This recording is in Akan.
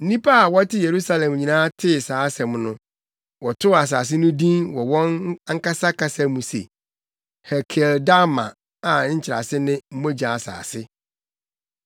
Nnipa a na wɔte Yerusalem nyinaa tee saa asɛm no, wɔtoo asase no din wɔ wɔn ankasa kasa mu se Hekeldama a nkyerɛase ne, Mogya Asase.)